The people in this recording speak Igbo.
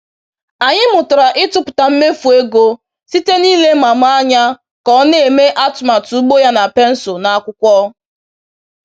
Anyị mụtara ịtụpụta mmefu ego site n’ile Mama anya ka ọ na-eme atụmatụ ugbo ya na pensụl na akwụkwọ.